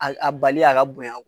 A bali a ka bonyan